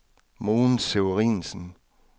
Mogens Severinsen